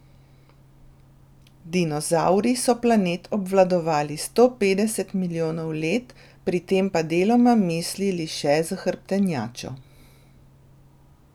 Dinozavri so planet obvladovali sto petdeset milijonov let, pri tem pa deloma mislili še s hrbtenjačo.